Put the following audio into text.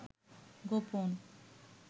গোপন